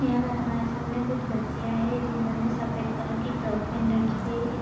यहां पर हमारे सामने कुछ बच्चियां हैं जिन्होंने सफेद कलर की फ्रॉक पहन रखी है।